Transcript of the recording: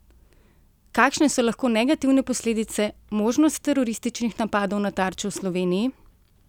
Kakšne so lahko negativne posledice, možnost terorističnih napadov na tarče v Sloveniji?